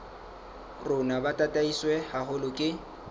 rona bo tataiswe haholo ke